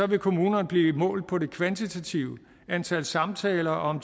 vil kommunerne blive målt på det kvantitative antal samtaler og om